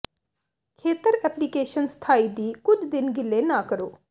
ਖੇਤਰ ਐਪਲੀਕੇਸ਼ਨ ਸਥਾਈ ਦੀ ਕੁਝ ਦਿਨ ਗਿੱਲੇ ਨਾ ਕਰੋ